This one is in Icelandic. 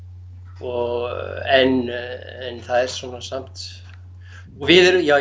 og en það er svona samt og við erum já